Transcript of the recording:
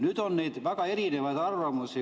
Neid arvamusi on väga erinevaid.